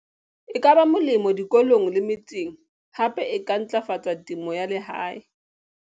E ka ba molemo dikolong le metseng hape e ka ntlafatsa temo ya lehae.